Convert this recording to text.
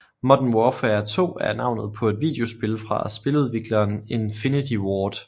Modern Warfare 2 er navnet på et videospil fra spiludvikleren Infinity Ward